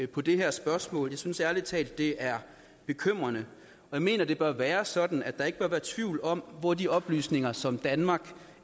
på det her spørgsmål i synes ærlig talt det er bekymrende jeg mener det bør være sådan at der ikke bør være tvivl om hvor de oplysninger som danmark